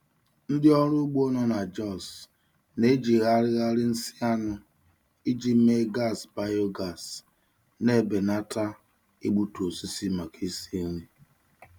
Ndị ọrụ ugbo nọ na Jos na-ejigharịgharị nsị anụ iji mee gas biogas, na-ebelata igbutu osisi maka isi nri.